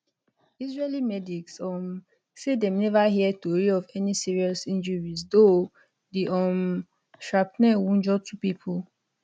israeli medics um say dem neva hear tori of any serious injuries though di um shrapnel wunjure two pipo